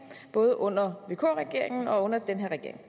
både under vk regeringen og under den her regering